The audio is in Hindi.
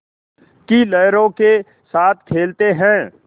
की लहरों के साथ खेलते हैं